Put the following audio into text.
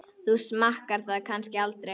Þú smakkar það kannski aldrei?